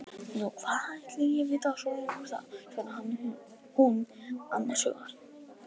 Nú, hvað ætli ég viti svo sem um það, svaraði hún annars hugar.